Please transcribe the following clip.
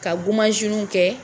Ka niw kɛ